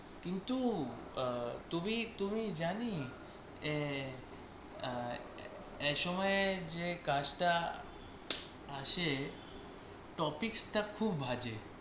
কিন্তু আহ তুমি, তুমি জানি এঁ আহ এ সময়ে যে কাজটা আসে topic টা খুব বাজে।